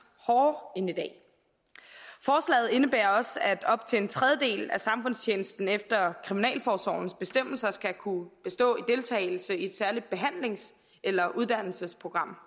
hårdere end i dag forslaget indebærer også at op til en tredjedel af samfundstjenesten efter kriminalforsorgens bestemmelser skal kunne bestå af deltagelse i et særligt behandlings eller uddannelsesprogram